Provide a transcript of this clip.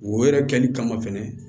Wo yɛrɛ kɛli kama fɛnɛ